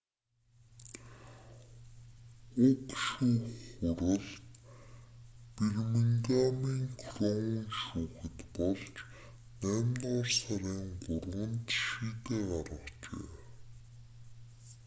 уг шүүх хурал бирмингамын кроун шүүхэд болж наймдугаар сарын 3-нд шийдээ гаргажээ